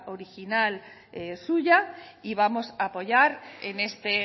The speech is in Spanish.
original suya y vamos a apoyar en este